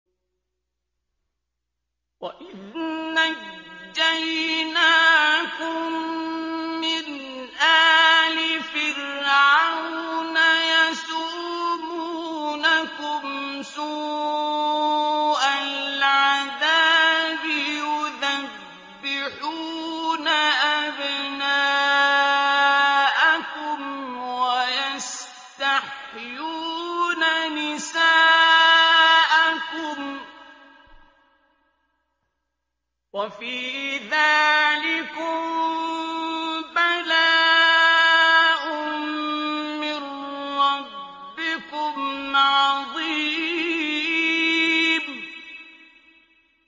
وَإِذْ نَجَّيْنَاكُم مِّنْ آلِ فِرْعَوْنَ يَسُومُونَكُمْ سُوءَ الْعَذَابِ يُذَبِّحُونَ أَبْنَاءَكُمْ وَيَسْتَحْيُونَ نِسَاءَكُمْ ۚ وَفِي ذَٰلِكُم بَلَاءٌ مِّن رَّبِّكُمْ عَظِيمٌ